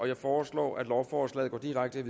jeg foreslår at lovforslaget går direkte